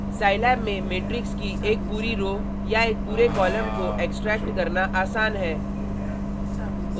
Scilab में matrix की एक पूरी रो row या एक पूरे कॉलम को एक्सट्रैक्ट करना आसान है